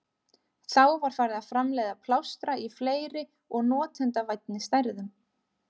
Þá var farið að framleiða plástra í fleiri og notendavænni stærðum.